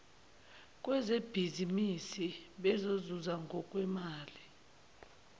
kwezebhizimisi bezozuza ngokwemali